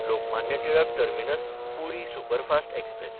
Lokmanya Tilak टर्मिनस–पुरी superfast express